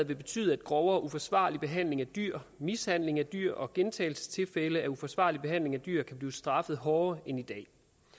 vil betyde at grov og uforsvarlig behandling af dyr mishandling af dyr og gentagelsestilfælde af uforsvarlig behandling af dyr kan blive straffet hårdere end i dag